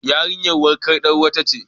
Yarinyar wankan tarwaɗa ce.